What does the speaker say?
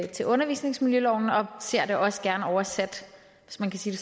til undervisningsmiljøloven og ser det også gerne oversat hvis man kan sige